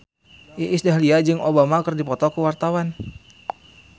Iis Dahlia jeung Obama keur dipoto ku wartawan